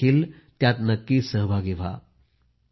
आपण देखील नक्की सहभागी व्हा